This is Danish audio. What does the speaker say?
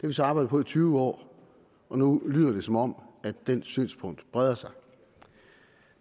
vi så arbejdet på i tyve år og nu lyder det som om det synspunkt breder sig